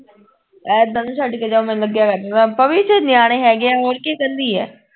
ਐਦਾਂ ਨਾ ਛੱਡ ਕੇ ਜਾ ਮੈਂਨੂੰ ਲੱਗਿਆ ਕਰਦਾ ਥਾ ਭਾਭੀ ਇਥੇ ਨਿਆਣੇ ਹੈਗੇ ਐ ਹੋਰ ਕਿ ਇਹ ਕੱਲੀ ਐ